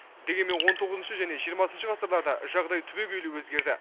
дегенмен он тоғызыншы және жиырмасыншы ғасырларда жағдай түбегейлі өзгерді